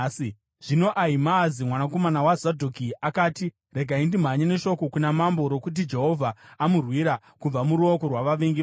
Zvino Ahimaazi mwanakomana waZadhoki akati, “Regai ndimhanye neshoko kuna mambo rokuti Jehovha amurwira kubva muruoko rwavavengi vake.”